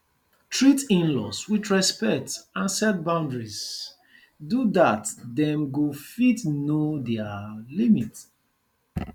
treat inlaws with respect and set boundaries do dat dem go fit know their limit